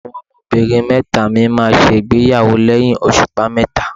Àwọn ọmọbìnrin mẹ́ta mi máa ṣègbéyàwó lẹ́yìn òṣùpá mẹ́ta.